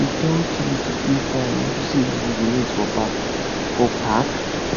dey tell chidi to pay fine unto say he urinate for park for park